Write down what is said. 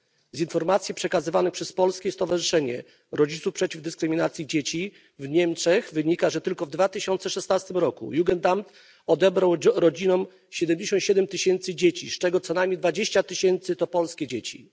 Z informacji przekazywanych przez Polskie Stowarzyszenie Rodziców Przeciw Dyskryminacji Dzieci w Niemczech wynika, że tylko w 2016 roku Jugendamt odebrał rodzinom 77 tysięcy dzieci, z czego co najmniej 20 tysięcy to polskie dzieci.